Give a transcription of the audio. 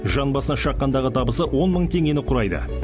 жан басына шаққандағы табысы он мың теңгені құрайды